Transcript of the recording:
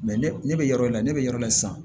ne ne bɛ yɔrɔ in na ne bɛ yɔrɔ la sisan